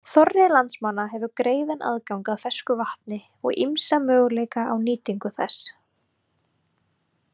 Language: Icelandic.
Þorri landsmanna hefur greiðan aðgang að fersku vatni og ýmsa möguleika á nýtingu þess.